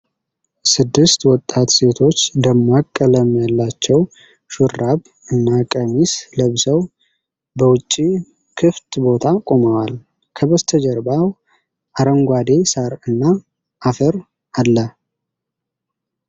ስድስት ወጣት ሴቶች ደማቅ ቀለም ያላቸው ሹራብ እና ቀሚስ ለብሰው በውጪ ክፍት ቦታ ቆመዋል። ከበስተጀርባው አረንጓዴ ሣር እና አፈር አለ።